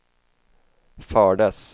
fördes